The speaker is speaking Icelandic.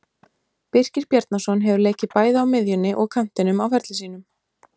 Birkir Bjarnason hefur leikið bæði á miðjunni og kantinum á ferli sínum.